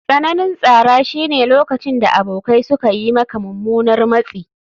Tsananin tsara shine lokacin da abokai suka yi maka mummunan matsi.